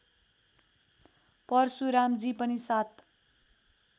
परशुरामजी पनि सात